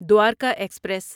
Dwarka express